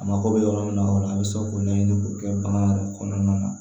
A mako bɛ yɔrɔ min na o la a bɛ se k'o ɲɛɲini k'o kɛ bagan yɛrɛ kɔnɔna na